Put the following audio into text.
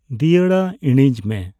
ᱫᱤᱭᱟᱹᱲᱟ ᱤᱬᱤᱡᱽ ᱢᱮ ᱾